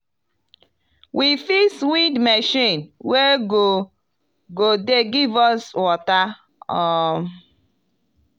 we fix wind machine wey go go dey give us water um.